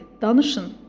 Danışın!